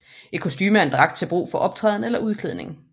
Et kostume er en dragt til brug for optræden eller udklædning